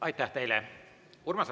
Aitäh teile!